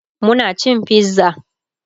Muna cin pizza